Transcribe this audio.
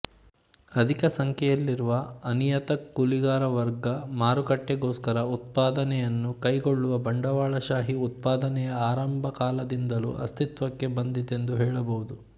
ಅಧಿಕಸಂಖ್ಯೆಯಲ್ಲಿರುವ ಅನಿಯತಕೂಲಿಗಾರವರ್ಗ ಮಾರುಕಟ್ಟೆಗೋಸ್ಕರ ಉತ್ಪಾದನೆಯನ್ನು ಕೈಗೊಳ್ಳುವ ಬಂಡವಾಳಶಾಹೀ ಉತ್ಪಾದನೆಯ ಆರಂಭಕಾಲದಿಂದಲೂ ಅಸ್ತಿತ್ವಕ್ಕೆ ಬಂದಿತೆಂದು ಹೇಳಬಹುದು